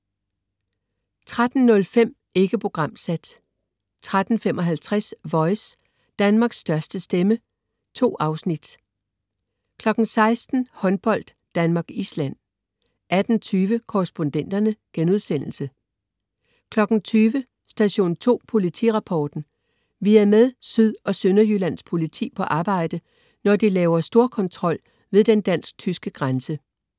13.05 Ikke programsat 13.55 Voice, Danmarks største stemme. 2 afsnit 16.00 Håndbold: Danmark-Island 18.20 Korrespondenterne* 20.00 Station 2 Politirapporten. Vi er med Syd- og Sønderjyllands Politi på arbejde, når de laver storkontrol ved den dansk/tyske grænse